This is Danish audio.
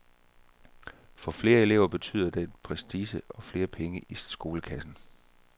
For flere elever betyder det prestige og flere penge i skolekassen.